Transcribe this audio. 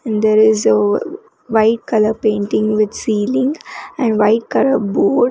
and there is a white colour painting with ceiling and white colour board.